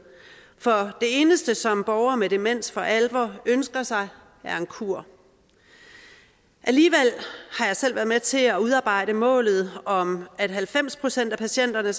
for det eneste som borgere med demens for alvor ønsker sig er en kur alligevel har jeg selv været med til at udarbejde målet om at halvfems procent af patienterne